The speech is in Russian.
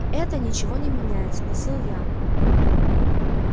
и это ничего не меняет спросил я